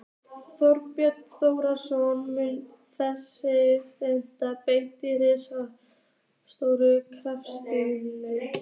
Þorbjörn Þórðarson: Mun þetta setja blett á ríkisstjórnarsamstarfið?